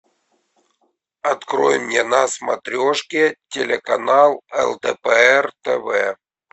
открой мне на смотрешке телеканал лдпр тв